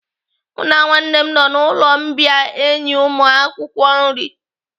Mụ na nwanne m nọ n'ụlọ mbìa enye ụmụakwụkwọ nri.